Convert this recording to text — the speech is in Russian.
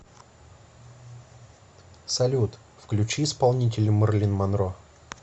салют включи исполнителя мэрлин монро